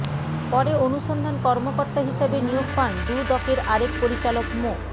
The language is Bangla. পরে অনুসন্ধান কর্মকর্তা হিসেবে নিয়োগ পান দুদকের আরেক পরিচালক মো